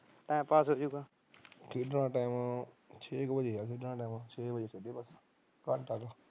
time pass ਹੋ ਜੂੰਗਾ